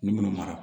Ni minnu mara